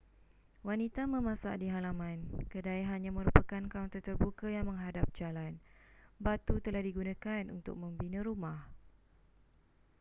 wanita memasak di halaman kedai hanya merupakan kaunter terbuka yang menghadap jalan batu telah digunakan untuk membina rumah